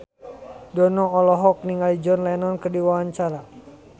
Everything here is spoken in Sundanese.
Dono olohok ningali John Lennon keur diwawancara